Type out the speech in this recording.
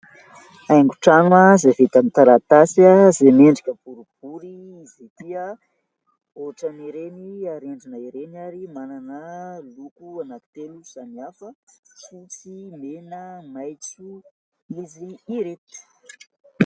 haingon-trano izay vita aminny taratasy, izay mendrika boribory izy ity, ohatran'ireny arendrina ireny ary manana loko anakitelo samihafa :fotsy, mena , maitso izy ireto